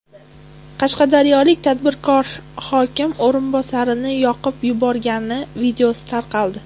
Qashqadaryolik tadbirkor hokim o‘rinbosarini yoqib yuborgani videosi tarqaldi.